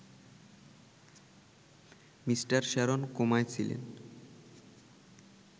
mister Sharon কোমায় ছিলেন